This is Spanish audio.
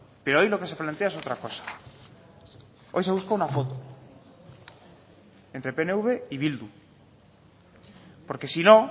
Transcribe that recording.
pero hoy lo que se plantea es otra cosa hoy se busca una foto entre pnv y bildu porque si no